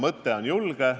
Mõte on julge.